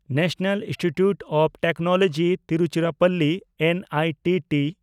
national institute of technology Tiruchirappalli (NITT)